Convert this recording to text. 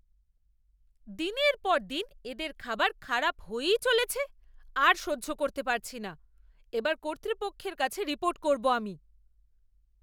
দিনের পর দিন এদের খাবার খারাপ হয়েই চলেছে। আর সহ্য করতে পারছি না, এবার কর্তৃপক্ষের কাছে রিপোর্ট করব আমি।